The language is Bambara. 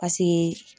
Paseke